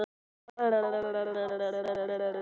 Edda varð að velja á milli þeirra.